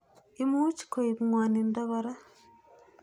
Imuch koip ng'wanindo kora.